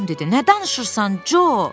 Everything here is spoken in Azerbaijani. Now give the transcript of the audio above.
Tom dedi: Nə danışırsan, Co!